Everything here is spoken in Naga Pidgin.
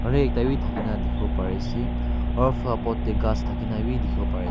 Aro ekta bi thakina dikhiwo pariase aro flower pot tae ghas thakina bi dikhiwo pariase.